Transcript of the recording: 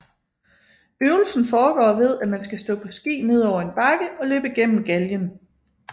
Øvelsen foregår ved at man skal stå på ski nedover en bakke og løbe gennem galgen